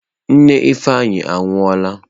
Nne Ifeanyi anwụọla.